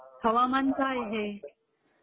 हवामान काय आहे.